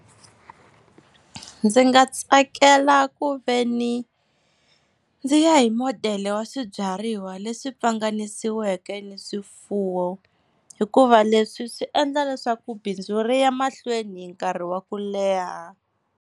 Ndzi nga tsakela ku veni ndzi ya hi modele wa swibyariwa leswi pfanganisiweke ni swifuwo, hikuva leswi swi endla leswaku bindzu ri ya mahlweni nkarhi wa ku leha.